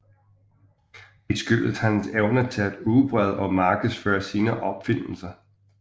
Det skyldes hans evner til at udbrede og markedsføre sine opfindelser